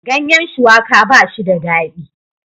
Ganyen shuwaka ba shi da daɗi